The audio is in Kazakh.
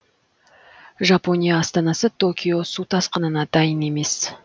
жапония астанасы токио су тасқынына дайын емес